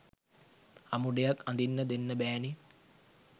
අමුඩයක් අදින්න දෙන්න බෑනේ